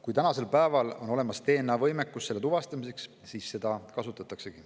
Kui tänasel päeval on olemas DNA‑võimekus selle tuvastamiseks, siis seda kasutatakse.